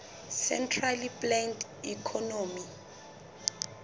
centrally planned economy